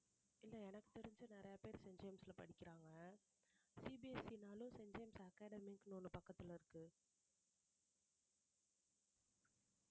இல்லை எனக்கு தெரிஞ்சு நிறைய பேர் செயின்ட் ஜேம்ஸ்ல படிக்கிறாங்க CBSE ன்னாலும் செயின்ட் ஜேம்ஸ் academy ஒண்ணு பக்கத்துல இருக்கு